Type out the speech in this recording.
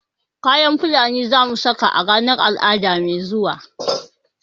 kayan fulani zamu saka a ranar al'adu mai zuwa